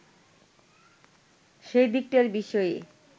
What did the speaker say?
সেই দিকটার বিষয়ে